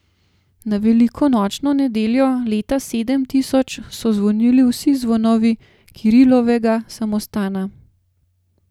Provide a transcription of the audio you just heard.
Na velikonočno nedeljo leta sedem tisoč so zvonili vsi zvonovi Kirilovega samostana.